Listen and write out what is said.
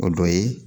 O dɔ ye